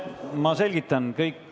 Ma selgitan.